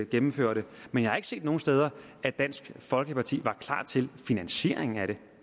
gennemførte men jeg har ikke set nogen steder at dansk folkeparti var klar til finansieringen af det